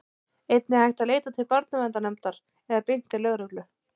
einnig er hægt að leita til barnaverndarnefndar eða beint til lögreglu